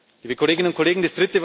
liebe Kolleginnen und Kollegen,